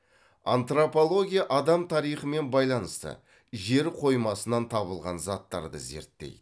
антропология адам тарихымен байланысты жер қоймасынан табылған заттарды зерттейді